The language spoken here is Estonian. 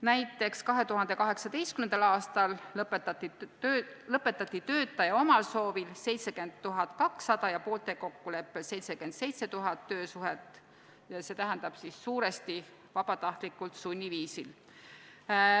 Näiteks, 2018. aastal lõpetati töötaja omal soovil 70 200 ja poolte kokkuleppel 77 000 töösuhet, st suuresti vabatahtlikult sunniviisil.